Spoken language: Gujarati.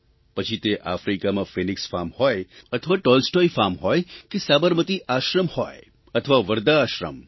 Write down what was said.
પછી તે આફ્રિકામાં ફિનીક્સ ફાર્મ હોય અથવા ટોલસ્ટૉય ફાર્મ હોય કે સાબરમતી આશ્રમ હોય અથવા વર્ધા આશ્રમ